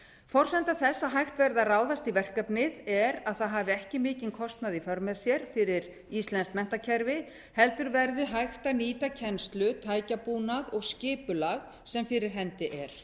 forsenda þess að hægt verði að ráðast í verkefnið er að það hafi ekki mikinn kostnað í för með sér fyrir íslenskt menntakerfi heldur verði hægt að nýta kennslu tækjabúnað og skipulag sem fyrir hendi er